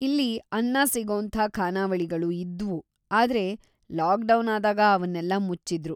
ಇಲ್ಲಿ ಅನ್ನ ಸಿಗೋಂಥ ಖಾನಾವಳಿಗಳೂ ಇದ್ವು ಆದ್ರೆ ಲಾಕ್‌ ಡೌನಾದಾಗ ಅವನ್ನೆಲ್ಲ ಮುಚ್ಚಿದ್ರು.